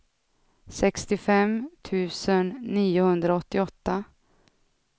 sextiofem tusen niohundraåttioåtta